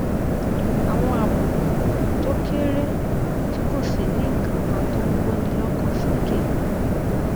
àwọn àbùkù tó kéré tí kò sì ní nǹkan kan tó ń kóni lókàn sókè